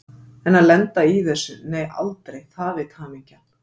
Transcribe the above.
En að lenda í þessu, nei aldrei, það veit hamingjan.